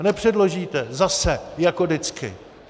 No nepředložíte, zase jako vždycky.